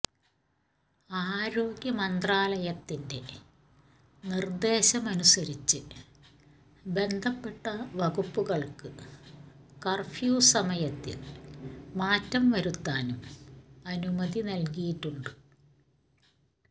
ആരോഗ്യമന്ത്രാലയത്തിന്റെ നിർദേശമനുസരിച്ച് ബന്ധപ്പെട്ട വകുപ്പുകൾക്ക് കർഫ്യൂ സമയത്തിൽ മാറ്റം വരുത്താനും അനുമതി നൽകിയിട്ടുണ്ട്